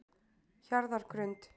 Hjarðargrund